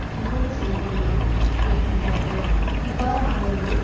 சுமந்து செல்பவர்களும் இருக்கின்றார்கள் இவ்வாறானவர்களுள்